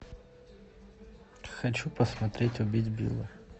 хочу посмотреть убить билла